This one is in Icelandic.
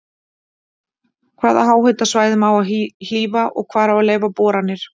Hvaða háhitasvæðum á að hlífa og hvar á að leyfa boranir?